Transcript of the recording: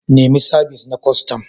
Nemi sabis na kwastam.